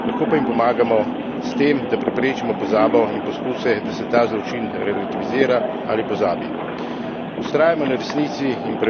nihče jim ne more povrniti njihove izgube, lahko pa jim pomagamo s tem, da preprečimo pozabo in poskuse, da se ta zločin relativizira ali pozabi.